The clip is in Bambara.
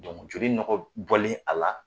joli nɔgɔ bɔlen a la